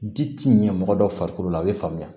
Di ti ɲɛ mɔgɔ dɔ farikolo la a bɛ faamuya